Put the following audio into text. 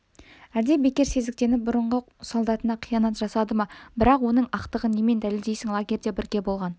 әлде бекер сезіктеніп бұрынғы солдатына қиянат жасады ма бірақ оның ақтығын немен дәлелдейсің лагерьде бірге болған